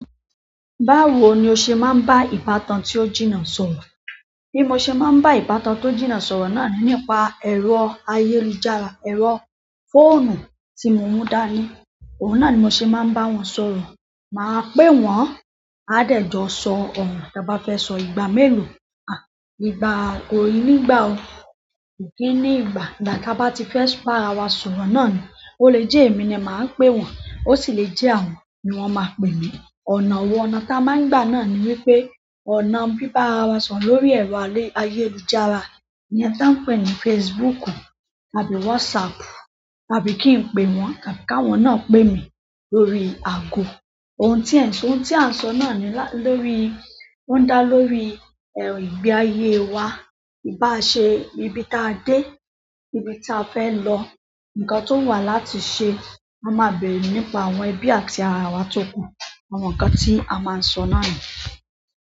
Báwo ni o ṣe máa ń bá ìbátan tí ó jìnnà sọ̀rọ̀? Bí mo ṣe máa ń bá ìbátan tí ó jìnnà sọ̀rọ̀ náà nípa ẹ̀rọ ayélujára, ẹ̀rọ fóònù tí mo mú dání, òun náà ni mo ṣe máa ń bá wọn sọ̀rọ̀. Màá pè wọ́n, a dè jọ sọ ọ̀rọ̀, tàá bá fẹ́ sọ ìgbà mélòó, à ìgbàa, ko nígbà o, kò kí ní ìgbà. Ìgbà tí a bá ti fẹ́ bá ara wa sọ̀rọ̀ náà ni, ó lè jẹ́ èmi ni màá pe wọ́n, ó sì lè jẹ́ àwọn ni wọ́n máa pe mí. Ọ̀nà wo, ọ̀nà tí a máa ń gbà náà ni wípé ọ̀nà bíbá ara wa sọ̀rọ̀ lórí ẹ̀rọ ayélujára iyẹ́ń tí à ń pè ní Facebook tàbí WhatsApp tàbí kí n pe wọ́n tàbí káwọn náà pè mí lórí àgọ. Ohun tí à ń sọ, ohun tí à ń sọ náà ni lórí, ó ń dá lórí ẹ̀m ìgbé ayé wa. Báa ṣe íbi tí a dé, íbi tí a fẹ́ lọ, nǹkan tó wù wà láti ṣe, a máa bèrè nípa àwọn ẹbí àti ara wa tókù. Àwọn nǹkan tí a máa ń sọ náà ni.